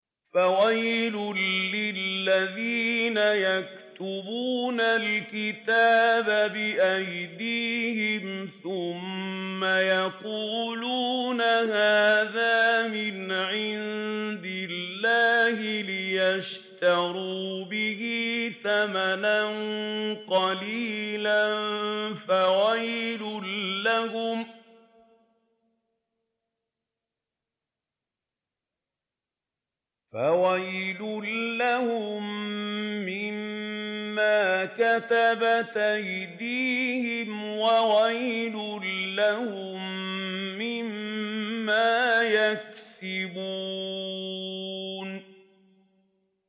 فَوَيْلٌ لِّلَّذِينَ يَكْتُبُونَ الْكِتَابَ بِأَيْدِيهِمْ ثُمَّ يَقُولُونَ هَٰذَا مِنْ عِندِ اللَّهِ لِيَشْتَرُوا بِهِ ثَمَنًا قَلِيلًا ۖ فَوَيْلٌ لَّهُم مِّمَّا كَتَبَتْ أَيْدِيهِمْ وَوَيْلٌ لَّهُم مِّمَّا يَكْسِبُونَ